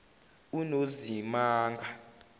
unozimanga